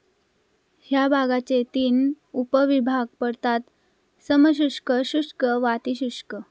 ह्या भागाचे तीन उपविभाग पडतात समशुष्क शुष्क वातिशुष्क